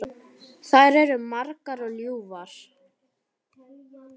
Þær eru margar og ljúfar.